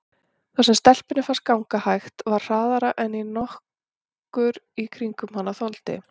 Það sem stelpunni fannst ganga hægt var hraðara en nokkur í kringum hana þoldi.